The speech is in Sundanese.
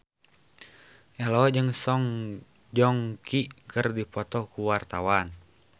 Ello jeung Song Joong Ki keur dipoto ku wartawan